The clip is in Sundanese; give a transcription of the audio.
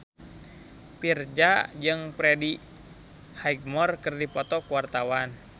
Virzha jeung Freddie Highmore keur dipoto ku wartawan